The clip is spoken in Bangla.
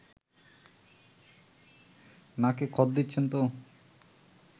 নাকে খত দিচ্ছেন তো